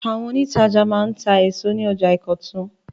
Àwọn òǹtajà máa ń ta èso ní ọjà Ìkọ̀tún.